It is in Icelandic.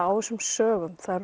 á þessum sögum það